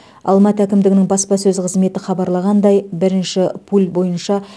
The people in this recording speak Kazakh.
алматы әкімдігінің баспасөз қызметі хабарлағандай бірінші пуль бойынша